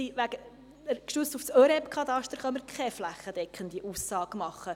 Gestützt als das ÖREB-Kataster können wir also keine flächendeckende Aussage machen.